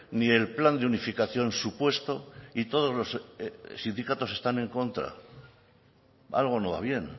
ni el plan de unificación supuesto y todos los sindicatos están en contra algo no va bien